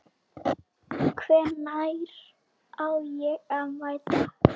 Hvenær á ég að mæta?